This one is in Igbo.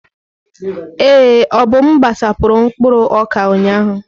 Ee, Obum gbasapụrụ mkpụrụ ọka ụnyahụ.